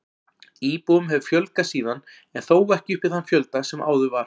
Íbúum hefur fjölgað síðan en þó ekki upp í þann fjölda sem áður var.